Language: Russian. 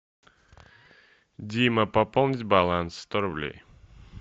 дима пополнить баланс сто рублей